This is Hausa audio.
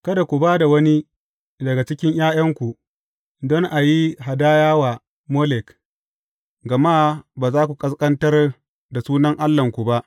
Kada ku ba da wani daga cikin ’ya’yanku don a yi hadaya wa Molek, gama ba za ku ƙasƙantar da sunan Allahnku ba.